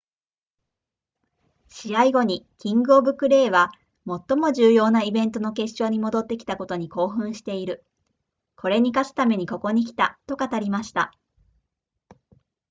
試合後にキングオブクレーは最も重要なイベントの決勝に戻ってきたことに興奮しているこれに勝つためにここに来たと語りました